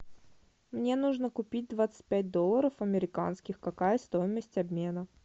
мне нужно купить двадцать пять долларов американских какая стоимость обмена